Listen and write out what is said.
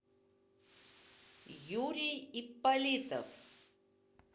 юрий ипполитов